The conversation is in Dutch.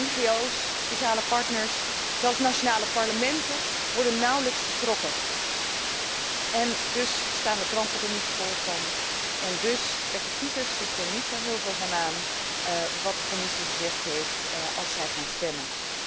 NGO's, sociale partners, zelfs nationale parlementen worden er nauwelijks bij betrokken en dus staan de kranten er niet vol van en trekken kiezers zich niet zo heel veel aan van wat de Commissie gezegd heeft, als zij gaan stemmen.